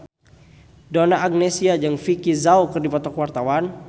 Donna Agnesia jeung Vicki Zao keur dipoto ku wartawan